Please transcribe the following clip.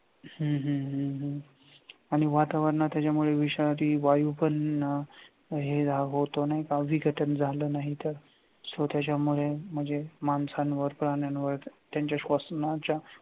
हम्म हम्म हम्म आणि वातावरणात त्याच्या मुळे विषारी वायू पण हे होतो नाही का विघटन नाही झालं तर so त्याच्यामुळे म्हणजे माणसांवर प्राण्यांवर त्यांच्या श्वसनाच्या